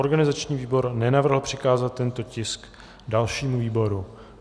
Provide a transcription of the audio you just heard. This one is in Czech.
Organizační výbor nenavrhl přikázat tento tisk dalšímu výboru.